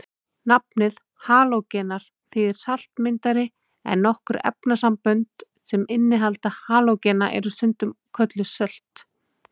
Nafnið halógenar þýðir saltmyndari en nokkur efnasambönd sem innihalda halógena eru stundum kölluð sölt.